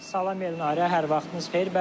Salam Elnarə, hər vaxtınız xeyir.